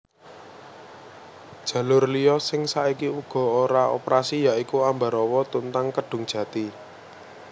Jalur liya sing saiki uga ora operasi ya iku Ambarawa Tuntang Kedungjati